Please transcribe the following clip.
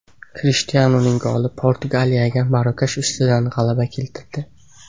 Krishtianuning goli Portugaliyaga Marokash ustidan g‘alaba keltirdi .